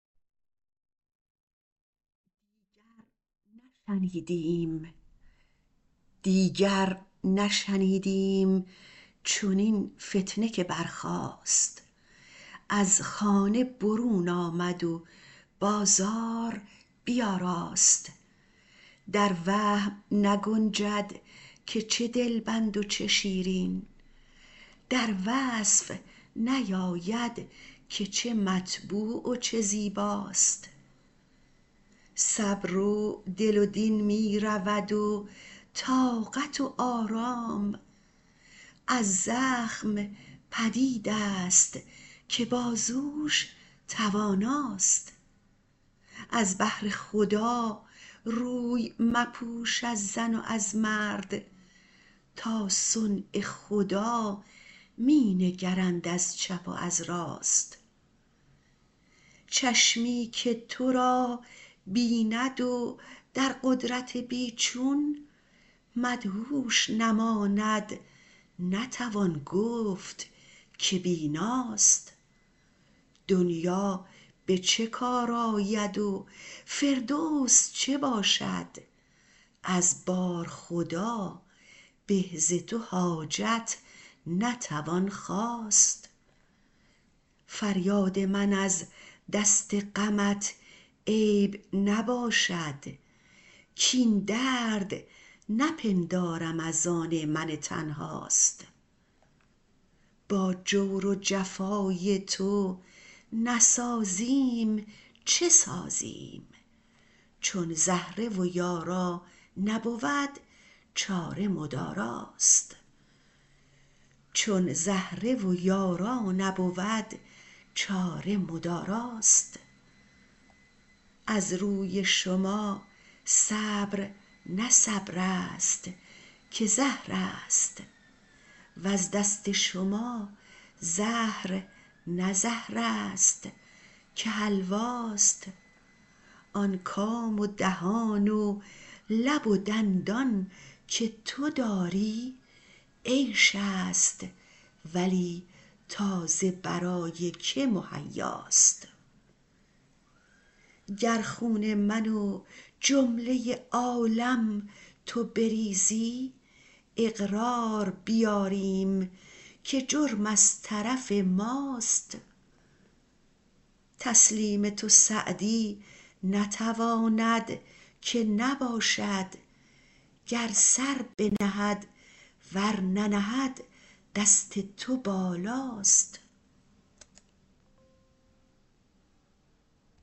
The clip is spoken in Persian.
دیگر نشنیدیم چنین فتنه که برخاست از خانه برون آمد و بازار بیاراست در وهم نگنجد که چه دلبند و چه شیرین در وصف نیاید که چه مطبوع و چه زیباست صبر و دل و دین می رود و طاقت و آرام از زخم پدید است که بازوش تواناست از بهر خدا روی مپوش از زن و از مرد تا صنع خدا می نگرند از چپ و از راست چشمی که تو را بیند و در قدرت بی چون مدهوش نماند نتوان گفت که بیناست دنیا به چه کار آید و فردوس چه باشد از بارخدا به ز تو حاجت نتوان خواست فریاد من از دست غمت عیب نباشد کاین درد نپندارم از آن من تنهاست با جور و جفای تو نسازیم چه سازیم چون زهره و یارا نبود چاره مداراست از روی شما صبر نه صبر است که زهر است وز دست شما زهر نه زهر است که حلواست آن کام و دهان و لب و دندان که تو داری عیش است ولی تا ز برای که مهیاست گر خون من و جمله عالم تو بریزی اقرار بیاریم که جرم از طرف ماست تسلیم تو سعدی نتواند که نباشد گر سر بنهد ور ننهد دست تو بالاست